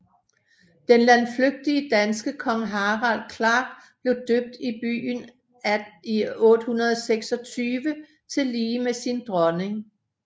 Den landflygtige danske konge Harald Klak blev døbt i byen i 826 tillige med sin dronning